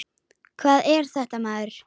Hvað er þetta maður.